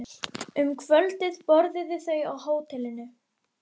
Um kvöldið borðuðu þau á hótelinu.